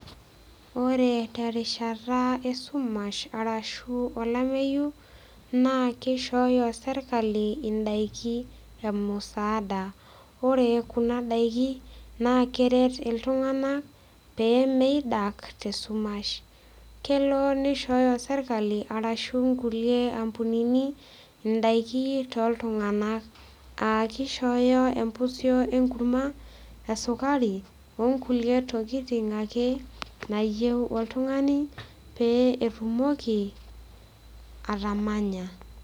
Ore terishata esumash arashu olameyu naa keishooyo sirkali indaiki e musaada ore kuna daiki naa keret iltung'anak pee meidak tesumash kelo nishooyo sirkali arashu nkulie ampunini indaiki toltung'anak aa kishooyo empusio enkurma esukari onkulie tokiting ake nayieu oltung'ani pee etumoki atamanya.